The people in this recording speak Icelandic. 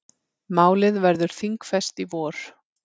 Málið verður þingfest í vor.